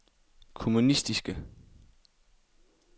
kommunistiske